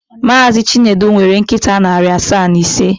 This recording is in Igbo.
Mazị Chinedu nwere nkịta narị asaa na ise.